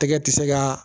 Tɛgɛ tɛ se ka